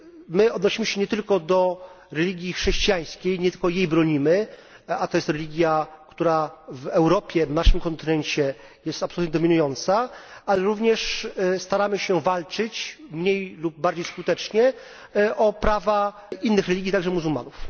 My odnosimy się nie tylko do religii chrześcijańskiej, nie tylko jej bronimy a to jest religia, która w Europie, na naszym kontynencie, jest absolutnie dominująca ale również staramy się walczyć, mniej lub bardziej skutecznie, o prawa innych religii, także muzułmanów.